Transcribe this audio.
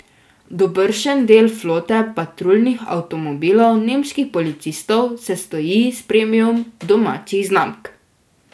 Dobršen del flote patruljnih avtomobilov nemških policistov sestoji iz premium domačih znamk.